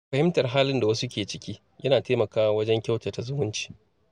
Fahimtar halin da wasu ke ciki yana taimakawa wajen kyautata zumunci.